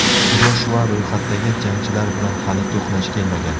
Joshua ro‘yxatdagi jangchilar bilan hali to‘qnash kelmagan.